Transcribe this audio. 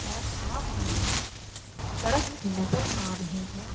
और साथ में सड़क भी नजर आ रही हैं।